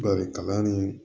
Barika ni